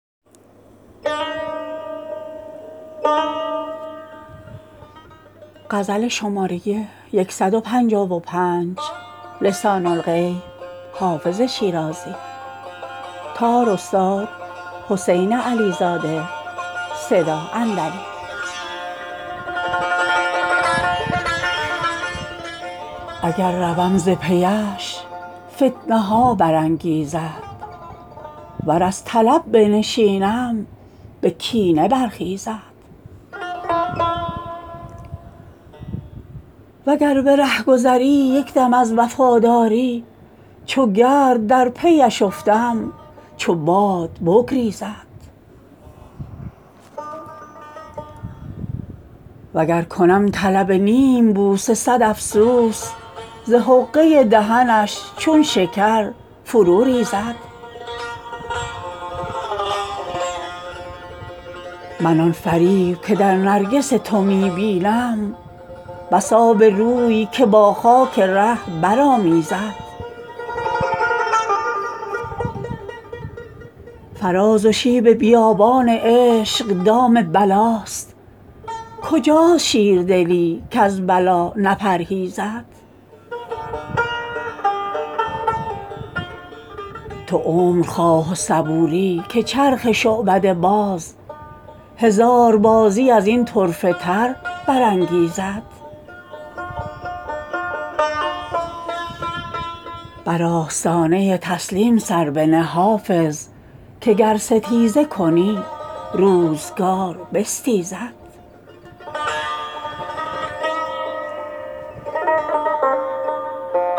اگر روم ز پی اش فتنه ها برانگیزد ور از طلب بنشینم به کینه برخیزد و گر به رهگذری یک دم از وفاداری چو گرد در پی اش افتم چو باد بگریزد و گر کنم طلب نیم بوسه صد افسوس ز حقه دهنش چون شکر فرو ریزد من آن فریب که در نرگس تو می بینم بس آبروی که با خاک ره برآمیزد فراز و شیب بیابان عشق دام بلاست کجاست شیردلی کز بلا نپرهیزد تو عمر خواه و صبوری که چرخ شعبده باز هزار بازی از این طرفه تر برانگیزد بر آستانه تسلیم سر بنه حافظ که گر ستیزه کنی روزگار بستیزد